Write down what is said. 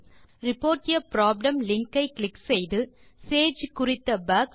report a problem link ஐ click செய்து சேஜ் குறித்த பக்ஸ்